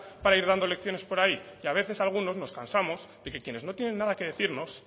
para ir dando lecciones por ahí y a veces algunos nos cansamos de que quienes no tienen nada que decirnos